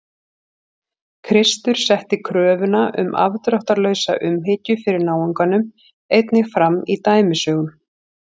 Kristur setti kröfuna um afdráttarlausa umhyggju fyrir náunganum einnig fram í dæmisögum.